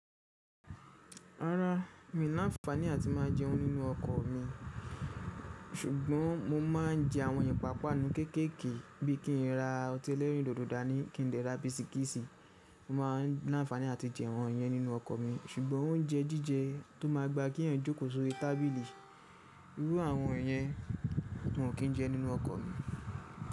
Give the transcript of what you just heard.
Rárá, mi ò láfàní àti má a jẹun nínú ọkọ̀ mi, ṣùgbọ́n mo má a ń jẹ àwọn ipàápàá nú kéékèèké bí i kí n ra ọtí ẹlẹ́rìndòdò dání, kí n dẹ̀ ra bisikíìsì. Mo máa ń láfàní àti jẹ àwọn yẹ́n nínú ọkọ̀ mi ṣùgbọ́n oúnjẹ jíjẹ tó máa gba kí èèyàn jókòó sórí tábìlì irú àwọn ẹ̀yẹn, n ò kí n jẹ nínú ọkọ̀ mi.